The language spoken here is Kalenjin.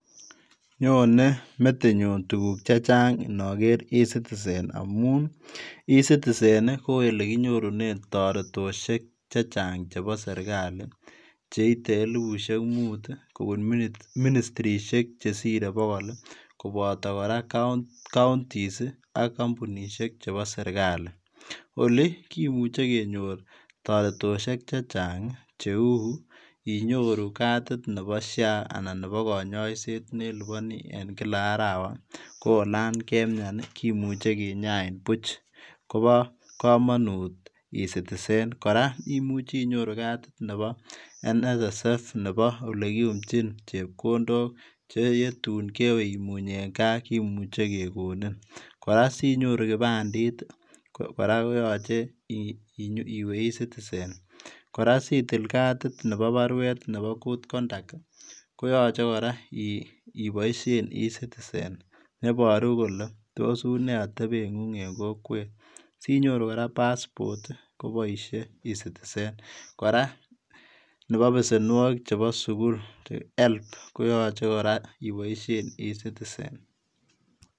Nyone metinyuun tuguuk che chaang inaker [ e-citizen] amuun [e citizen] ko olekinyoruneen taretoshek chechaang chebo serikali cheite elibushek muut kobuun ministrisheek chesirei bogol ii kobata kora [counties] ak kampunisheek chebo serikali olii kimuche kenyoor taretoshek chechaang che uu inyoruu katit nebo sha anan nebo kanyaiseet ne lipanii en kila arawa ko olaan kemyaan ii kimuchei kinyain buuch Kobo kamanut [e citizen] kora imuche inyoruu katit nebo [nssf] nebo ole kiyumjiin chepkondook che tuun kewe immuuny en gaah ii kimuchei kegonin kora sinyoruu kipandit kora ko yachei iweeh [e citizen] kora sitil katit nebo baruet nebo [good conduct] ko yachei kora ibaisheen [e citizen] nebaruu kole tos unee atebeet nengung, sinyoruu kora [passport] kobaishe [e citizen] kora nebo besenwagiik chebo sugul [HELB] koyachei kora ibaisheen [e-citizen].